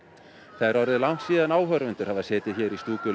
það er orðið langt síðan áhorfendur hafa setið hér í stúlku